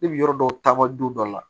Ne bi yɔrɔ dɔw taama don dɔ la